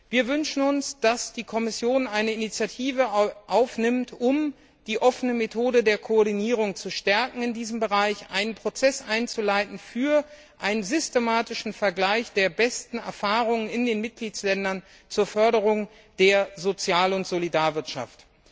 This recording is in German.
Wir wünschen uns, dass die Kommission eine Initiative ergreift, um die offene Methode der Koordinierung in diesem Bereich zu stärken und einen Prozess einzuleiten für einen systematischen Vergleich der besten Erfahrungen in den Mitgliedsländern zur Förderung der Sozial und Solidarwirtschaft.